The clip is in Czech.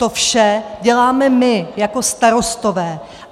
To vše děláme my jako starostové.